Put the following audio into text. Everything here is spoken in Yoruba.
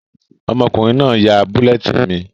Ọmọkùnrin náà n yá bulletin mi